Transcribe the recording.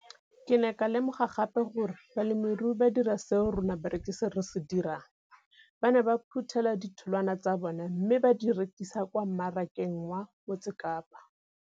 Ke ne ka lemoga gape gore balemirui ba dira seo rona barekisi re se dirang, ba ne ba phuthela ditholwana tsa bona mme ba di rekisa kwa marakeng wa Motsekapa.